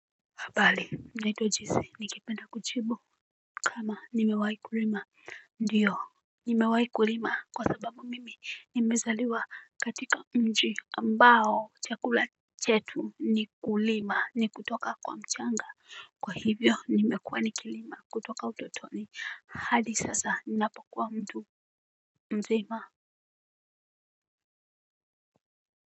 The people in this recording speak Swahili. Naitwa jesi nikipenda kuchibu. Kama nimewai kulima ndiyo nimewai kulima kwa sababu mimi nimezaliwa katika mji ambao chakula chetu nikulima ni kutoka kwa mchanga kwa hivyo nimekuwa nikulima kutoka utotoni hadi sasa napokuwa mtu mzima.